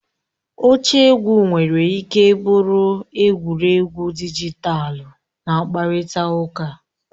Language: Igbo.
Oche egwu nwere ike bụrụ egwuregwu dijitalụ na mkparịta ụka.